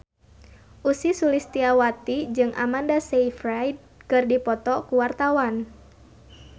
Ussy Sulistyawati jeung Amanda Sayfried keur dipoto ku wartawan